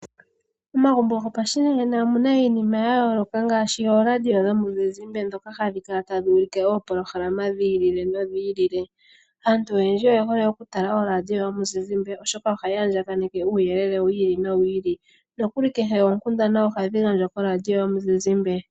Momagumbo go pashinanena omuna iinima ya yoloka ngaashi oradio dhomizizimbe dhoka hadhi kala tadhi ulike oopolohalama dhi ili nodhi ili. Aantu oyendji oye holee oku tala oladio yomuzizimbe oshoka ohayi andjakaneke uyelele wi ili no wili ,nokuli ngaashi oonkundana ohadhi gandjwa koladio yomuzizimbe.